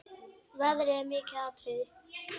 Veðrið er mikið atriði.